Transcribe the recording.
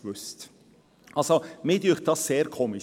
Ich finde das sehr seltsam.